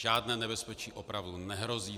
Žádné nebezpečí opravdu nehrozí.